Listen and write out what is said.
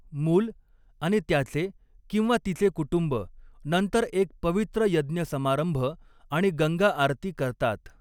मूल आणि त्याचे किंवा तिचे कुटुंब नंतर एक पवित्र यज्ञ समारंभ आणि गंगा आरती करतात.